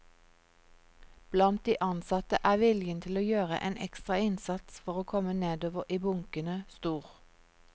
Blant de ansatte er viljen til å gjøre en ekstra innsats for å komme nedover i bunkene stor.